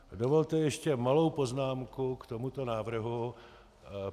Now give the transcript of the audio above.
Dovolte ještě malou poznámku k tomuto návrhu.